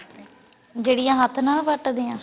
ਜਿਹੜੀਆਂ ਹੱਥ ਨਾਲ ਵੱਟਦੇ ਆ